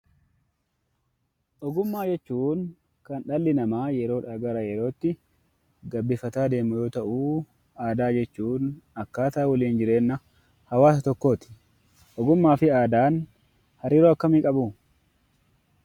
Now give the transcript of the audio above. Ogummaa jechuun kan dhalli namaa yeroodhaa gara yerootti gabbifataa deemu yoo ta'u; Aadaa jechuun akkaataa waliin jireenya hawaasa tokkooti. Ogummaa fi Aadaan hariiroo akkamii qabu?